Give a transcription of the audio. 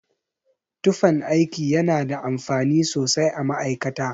Tufan aiki yana da amfani sosai a ma'aikata.